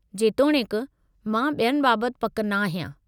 जेतोणीकि, मां ॿियनि बाबत पकि नाहियां।